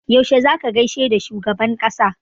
Yaushe za ka gaishe da shugaban ƙasa?